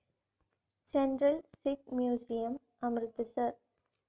central Sikh museum, Amritsar